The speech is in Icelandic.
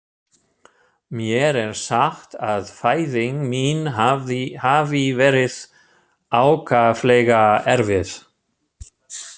Mér er sagt að fæðing mín hafi verið ákaflega erfið.